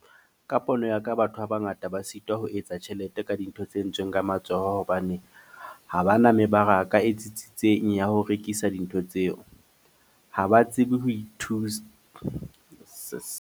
Ka pono ya ka, batho ba bangata ba sitwa ho etsa tjhelete ka dintho tse entsweng ka matsoho. Hobane ha ba na mebaraka e tsitsitseng ya ho rekisa dintho tseo. Ha ba tsebe ho ithusa .